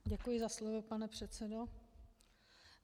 Děkuji za slovo, pane předsedo.